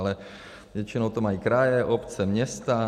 Ale většinou to mají kraje, obce, města.